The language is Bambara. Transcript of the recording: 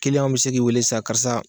w be se k'i weele sa karisa